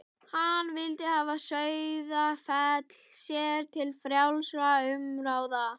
Hann vildi hafa Sauðafell sér til frjálsra umráða.